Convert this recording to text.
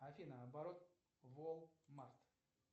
афина оборот волмарт